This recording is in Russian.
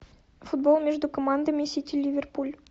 футбол между командами сити ливерпуль